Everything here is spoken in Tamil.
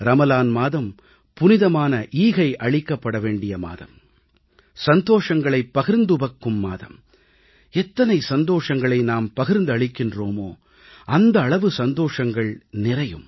ரமலான் மாதம் புனிதமான ஈகை அளிக்கப்பட வேண்டிய மாதம் சந்தோஷங்களை பகிர்ந்துவக்கும் மாதம் எத்தனை சந்தோஷங்களை நாம் பகிர்ந்தளிக்கிறோமோ அந்த அளவு சந்தோஷங்கள் நிறையும்